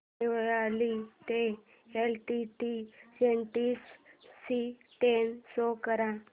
देवळाली ते LTT station ची train show कर